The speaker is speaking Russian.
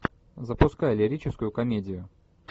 запускай лирическую комедию